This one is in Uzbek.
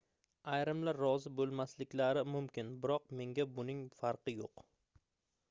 ayrimlar rozi boʻlmasliklari mumkin biroq menga buning farqi yoʻq